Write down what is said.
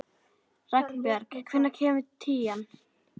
Ragnbjörg, hvenær kemur tían?